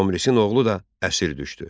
Tomrisin oğlu da əsir düşdü.